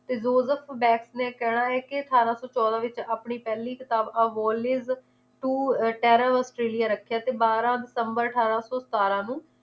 ਤੇ joseph batt ਨੇ ਕਹਿਣਾ ਏ ਕਿ ਅਠਾਰਾਂ ਸੌ ਚੋਦਾਂ ਵਿਚ ਆਪਣੀ ਪਹਿਲੀ ਕਿਤਾਬ avholiz to terror ਔਸਟ੍ਰੇਲਿਆ ਰੱਖਿਆ ਤੇ ਬਾਰ੍ਹਾਂ ਦਿਸੰਬਰ ਅਠਾਰਾਂ ਸੌ ਸਤਾਰਾਂ ਨੂੰ